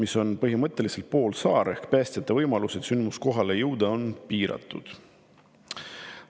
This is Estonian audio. See on põhimõtteliselt poolsaar, nii et päästjate võimalused sündmuskohale jõuda on piiratud.